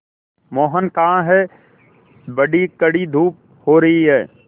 मोहन कहाँ हैं बड़ी कड़ी धूप हो रही है